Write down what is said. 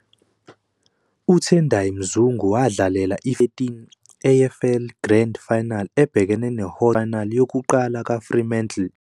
UTendai Mzungu wadlalela iFremantle ngo- 2013 AFL Grand Final ebhekene no- Hawthorn, i-Grand Final yokuqala kaFremantle emlandweni wabo.